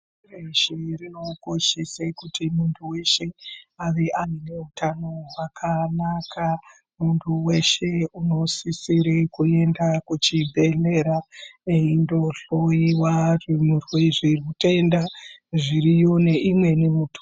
Reshe rinokoshese kuti muntu weshe ave neutano hwakanaka munhu weshe unosisire kuende kuchibhedhlera eindohloiwa zvimurwe zviutenda zviriyo neimweni muto.